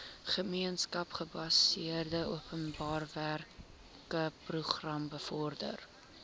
gemeenskapsgebaseerde openbarewerkeprogram bevorder